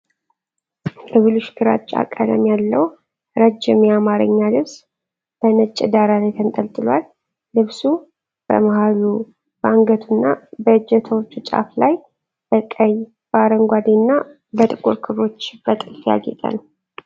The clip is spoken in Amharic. የብሉሽ ግራጫ ቀለም ያለው ረጅም የአማርኛ ልብስ በነጭ ዳራ ላይ ተንጠልጥሏል። ልብሱ በመሃሉ፣ በአንገቱና በእጀታዎቹ ጫፍ ላይ በቀይ፣ በአረንጓዴና በጥቁር ክሮች በጥልፍ ያጌጠ ነው።